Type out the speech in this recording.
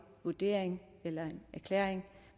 vurdering eller erklæring